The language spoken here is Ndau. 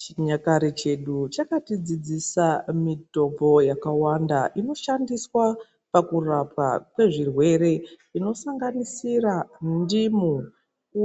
Chinyakare chedu chakatidzidzisa mitombo yakawanda inoshandiswa pakurapwa kwezvirwere inosanganisira mundimu,